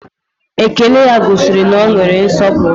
Ékélé ya gosiri na ọ nwere nsọpụrụ